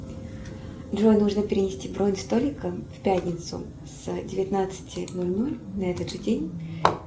джой нужно перенести бронь столика в пятницу с девятнадцати ноль ноль на этот же день